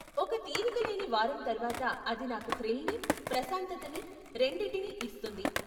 ఒక తీరికలేని వారం తర్వాత అది నాకు థ్రిల్ని, ప్రశాంతతని, రెండిటినీ ఇస్తుంది.